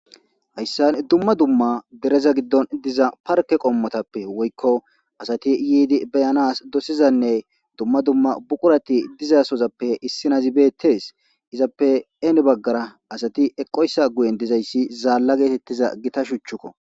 hayssan dumma dumma dereza giddon diza parke qommotappe woykko asati yiidi beyanas dosizanne dumma dumma buqurati dizasozappe issinazibeettes izappe een baggara asati eqoyssa guyen dizayssi zaalla geetettiza gita shuchchukko